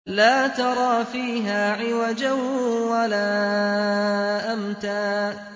لَّا تَرَىٰ فِيهَا عِوَجًا وَلَا أَمْتًا